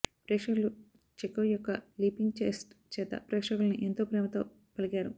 ప్రేక్షకులు చెకోవ్ యొక్క leaping chest చేత ప్రేక్షకులని ఎంతో ప్రేమతో పలికారు